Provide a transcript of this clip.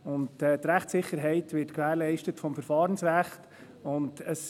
Die Rechtssicherheit wird vom Verfahrensrecht gewährleistet.